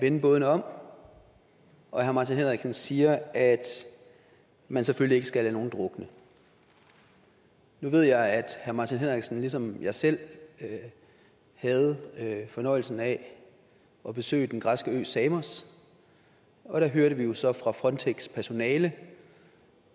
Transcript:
vende bådene om og herre martin henriksen siger at man selvfølgelig ikke skal lade nogen drukne nu ved jeg at herre martin henriksen ligesom jeg selv havde fornøjelsen af at besøge den græske ø samos og der hørte vi jo så fra frontex personale